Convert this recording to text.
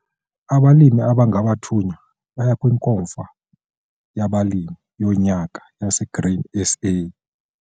Abalimi abangabathunywa baya kwiNkomfa yabalimi yoNyaka yaseGrain SA.